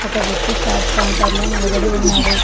ఒక వ్యక్తి chat counter లో నిలబడి ఉన్నాడు.